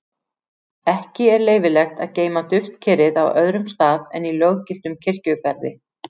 Ekki er leyfilegt að geyma duftkerið á öðrum stað en í löggiltum kirkjugarði.